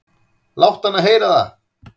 """Láttu hana heyra það,"""